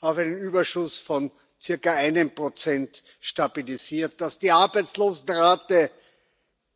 auf einen Überschuss von circa 1 stabilisiert, dass die Arbeitslosenrate